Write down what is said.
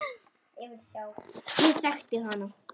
Ég þekkti hana.